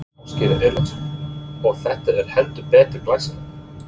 Ásgeir Erlendsson: Og þetta er heldur betur glæsilegt?